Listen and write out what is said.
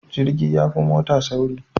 Jirgi yafi mota sauri